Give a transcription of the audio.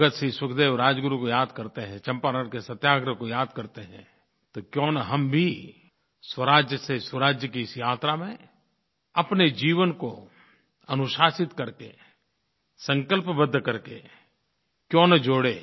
भगत सिंह सुखदेव राजगुरु को याद करते हैं चंपारण के सत्याग्रह को याद करते हैं तो क्यों न हम भी स्वराज से सुराज की इस यात्रा में अपने जीवन को अनुशासित करके संकल्पबद्ध करके क्यों न जोड़ें